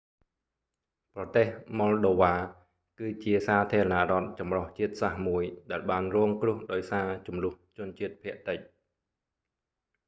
ប្រទេស ម៉ុលដូវ៉ា moldova គឺ ជាសាធារណរដ្ឋចម្រុះជាតិសាសន៍មួយ ដែលបានរងគ្រោះដោយសារជម្លោះជនជាតិភាគតិច